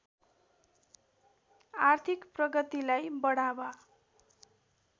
आर्थिक प्रगतिलाई बढावा